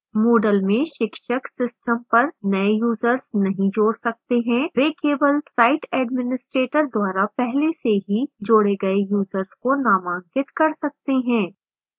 moodle में शिक्षक system पर नए यूजर्स नहीं जोड़ सकते हैं